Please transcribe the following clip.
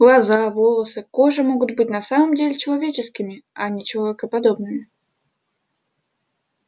глаза волосы кожа могут быть на самом деле человеческими а не человекоподобными